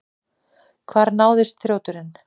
Hvar náðist þrjóturinn?